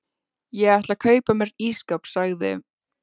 Ég ætla að kaupa mér ísskáp sagði